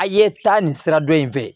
A' ye taa nin sira dɔ in fɛ